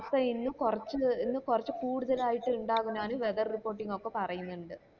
വസ്ത ഇന്നും കൊറച്ച് കൊറച്ച് കൂടുതൽ ആയിട്ട് ഇണ്ടാകുന്നാണ് whether reporting ഒക്കെ പറയുന്നിണ്ട്